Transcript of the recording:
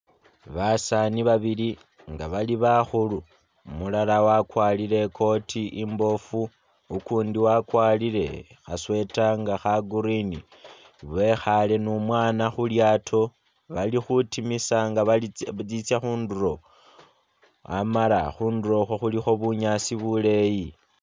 Basani babili nga bali bakhulu umulala wakwarile ikoti imbofu ukundi wakwarile kha sweater nga kha green, bekhale ni umwana khulyato balikutimisa nga litsa khunduro amala khunduro ikho khulikho bunyaasi buleyi .